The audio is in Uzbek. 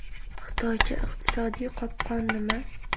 Xitoycha iqtisodiy qopqon nima?